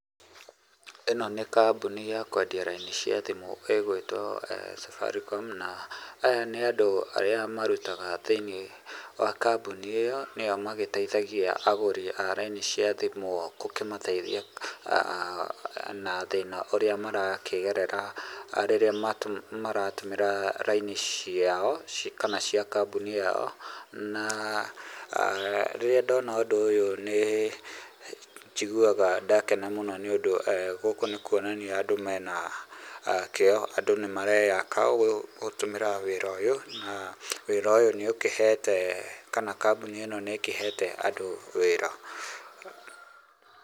ĩno nĩ kambuni ya kwendia raini cia thimũ ĩgwĩtwo Safaricom, na aya nĩ andũ arĩa marutaga thĩinĩ wa kambuni ĩyo, nĩo magĩteithagia agũri a raini cia thimũ gũkĩmateithia na thĩna ũrĩa marakĩgerera rĩrĩa maratũmĩra raini ciao, kana cia kambũni yao, na rĩrĩa ndona ũndũ ũyũ nĩ njiguaga ndakena mũno nĩ ũndũ gũkũ nĩ kuonania kwĩ na kĩo, andũ nĩmareaka gũtũmĩra wĩra ũyũ na wĩra ũyũ nĩ ũkĩhete kana kambuni ĩno nĩ ĩkĩhete andũ wĩra.